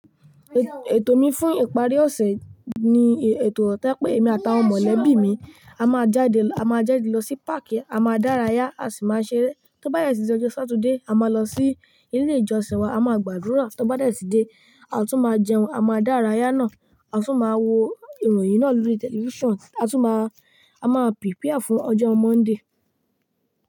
Ètò mi fún ìparí ọ̀sẹ̀ ni e, ètò tí pé èmi àtàwọn mọ̀lẹ́bí mi a máa jáde, a máa jáde lọ sí páàkí, a máa dárayá, a sì máa ṣeré. Tóbá de tì dí ọjọ́ Saturday, a máa lọ sí ilé ìjọsìn wa, a máa gbàdúrà. Tabá de tì dé, a tún máa jẹun, a máa dárayá náà, a tun máa wo ìròyìn náà lórí tẹlifísàn. A tún máa, a máa prepare fún ọjọ́ Monday.